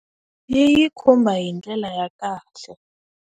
Yi yi khumba hi ndlela ya kahle.